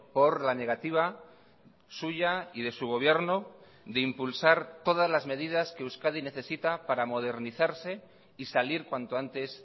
por la negativa suya y de su gobierno de impulsar todas las medidas que euskadi necesita para modernizarse y salir cuanto antes